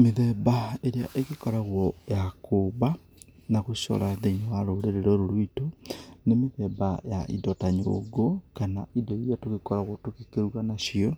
Mĩthemba ĩrĩa ĩgĩkoragwo ya kũũmba na gũcora thĩiniĩ wa rũrĩrĩ rũrũ rwĩtũ, nĩ mĩthemba ya indo ta nyũngũ, kana indo irĩa tugĩkoragwo tũgĩkĩruga nacio.